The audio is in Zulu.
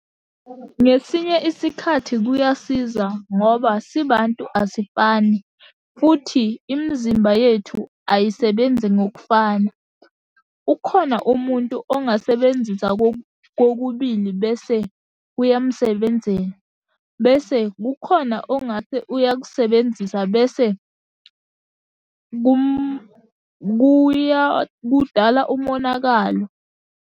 Ngesinye isikhathi kuyasiza ngoba sibantu asifani, futhi imizimba yethu ayisebenzi ngokufana. Ukhona umuntu ongasebenzisa kokubili bese kuyamsebenzela. Bese kukhona ongathi uyakusebenzisa bese kudala umonakalo.